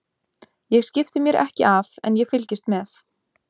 Ég skipti mér ekki af en ég fylgist með.